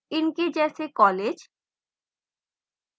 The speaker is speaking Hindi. इनके जैसे colleges